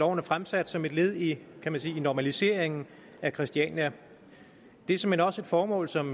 er fremsat som et led i kan man sige normaliseringen af christiania det er såmænd også et formål som